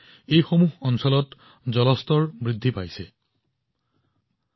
এই অঞ্চলবোৰত পানীৰ স্তৰ বৃদ্ধি কৰাত ই যথেষ্ট সহায় কৰিছিল